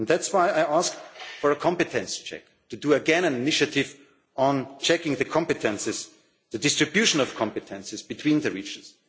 possible. That's why I ask for a competence check, to do again an initiative on checking the competences the distribution of competences between the